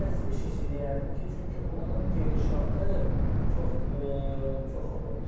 Həm də Spişici deyərdim ki, çünki onun gedişatı çox, çox olurdu da.